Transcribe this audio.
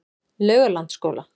Laugalandsskóla